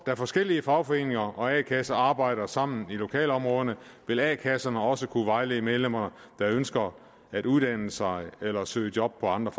da forskellige fagforeninger og a kasser arbejder sammen i lokalområderne vil a kasserne også kunne vejlede medlemmer der ønsker at uddanne sig eller søge job på andre